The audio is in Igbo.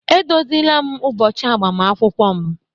Edozila m ụbọchị agbamakwụkwọ m